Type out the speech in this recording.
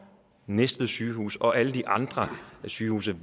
næstved sygehus og alle de andre sygehuse